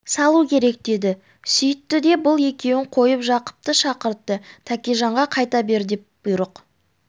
салу керек деді сүйітті де бұл екеуін қойып жақыпты шақыртты тәкежанға қайта бер деп бұйрық